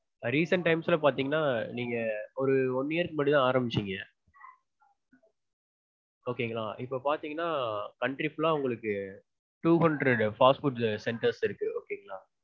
recent times ல பாத்தீங்கனா நீங்க ஒரு one year க்கு முன்னாடிதா ஆரம்பிச்சீங்க. okay ங்களா? இப்போ பாத்தீங்கனா country full லா உங்களுக்கு two hundred fast food centers இருக்கு okay ங்களா?